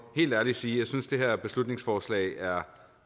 helt ærligt sige at jeg synes det her beslutningsforslag er